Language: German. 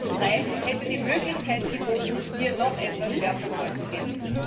Und Seveso III hätte die Möglichkeit geboten, hier noch etwas schärfer vorzugehen.